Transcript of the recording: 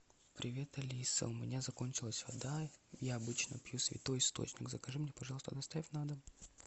привет алиса у меня закончилась вода я обычно пью святой источник закажи мне пожалуйста доставь на дом